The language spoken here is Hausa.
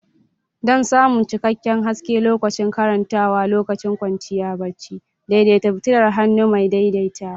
Don samun cikakken haske lokacin karantawa lokacin kwanciya barci, daidaita fitilar hannu mai daidaitawa.